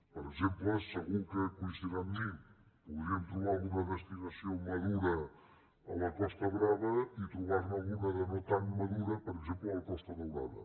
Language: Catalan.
per exemple segur que deu coincidir amb mi podríem trobar alguna destinació madura a la costa brava i trobar ne alguna de no tan madura per exemple a la costa daurada